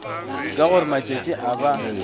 ka gore matšatši a ba